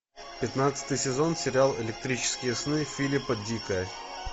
пятнадцатый сезон сериал электрические сны филипа дика